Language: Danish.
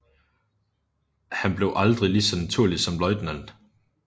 Han blev aldrig lige så naturlig som ljt